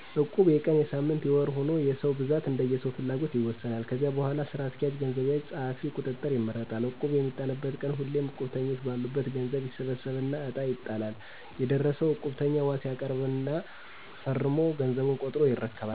እቁብ የቀን: የሳምንት :የወር ሁኖ የሰው ብዛት እንደየሰዉፍላጎትይወሰናል። ከዚያ በሗላ ስራ አስኪያጅ፣ ገንዘብ ያዥ፣ ፀሀፊ፣ ቁጥጥር ይመረጣል። እቁቡ በሚጣልበት ቀን ሁሉም እቁብተኞ በአሉበት ገዘቡ ይሠበሠብና እጣ ይጣላል የደረሠው እቁብተኛ ዋስ ያቀርባል ፊርማ ፈረሞ ገዘቡን ቆጥሮ ይረከባል።